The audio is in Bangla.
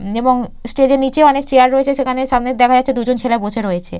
এবং স্টেজ এর নিচে অনেক চেয়ার রয়েছে সেখানে সামনের দেখা যাচ্ছে দুজন ছেলে বসে রয়েছে।